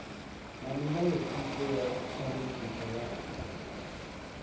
na milayotibe ya tshandukiso ya